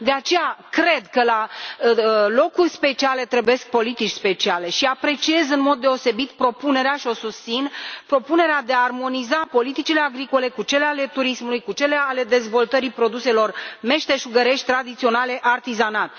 De aceea, cred că la locuri speciale trebuie politici speciale și apreciez în mod deosebit și susțin propunerea de a armoniza politicile agricole cu cele ale turismului, cu cele ale dezvoltării produselor meșteșugărești, tradiționale, artizanat.